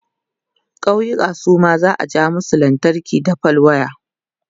ƙauyuka Suma za'a ja musu lantarki da fal waya